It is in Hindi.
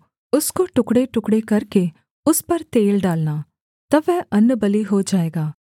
उसको टुकड़ेटुकड़े करके उस पर तेल डालना तब वह अन्नबलि हो जाएगा